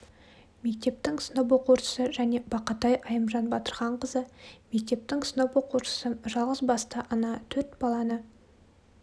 мектептің сынып оқушысы және бақатай айымжан батырханқызы мектептің сынып оқушысы жалғыз басты ана төрт баланы